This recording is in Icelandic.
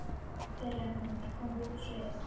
fyrr en hún er komin upp á svið.